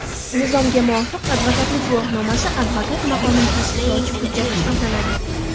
Nizomga muvofiq, advokatlik guvohnomasi advokat maqomini tasdiqlovchi hujjat hisoblanadi.